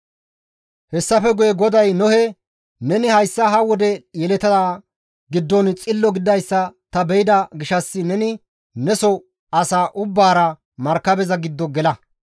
Hessafe guye GODAY Nohe, «Neni hayssa ha wode yeletaa giddon xillo gididayssa ta be7ida gishshas neni neso asaa ubbaara markabeza giddo gela.